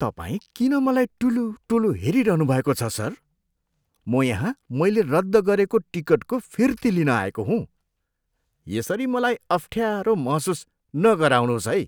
तपाईँ किन मलाई टुलुटुलु हेरिरहनुभएको छ सर? म यहाँ मैले रद्द गरेको टिकटको फिर्ती लिन आएको हुँ। यसरी मलाई अफ्ठ्यारो महसुस नगराउनुहोस् है!